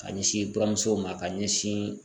K'a ɲɛsin buramusow ma k'a ɲɛsiin